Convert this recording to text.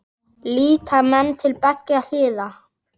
Líta menn til beggja hliða?